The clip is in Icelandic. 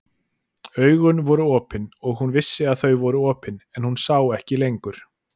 Augun voru opin og hún vissi að þau voru opin, en hún sá ekki lengur.